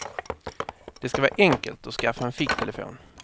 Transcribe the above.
Det ska vara enkelt att skaffa en ficktelefon.